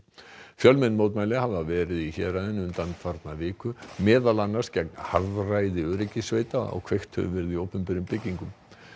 fjölmenn mótmæli hafa verið í héraðinu undanfarna viku meðal annars gegn harðræði öryggissveita og kveikt hefur verið í opinberum byggingum